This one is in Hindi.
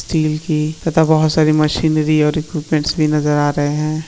'' स्टील की तथा बहुत सारी मशीन भी और एकिपमेंट भी नजर आ रहे है। ''